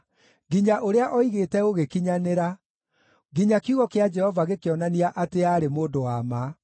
nginya ũrĩa oigĩte ũgĩkinyanĩra, nginya kiugo kĩa Jehova gĩkĩonania atĩ aarĩ mũndũ wa ma.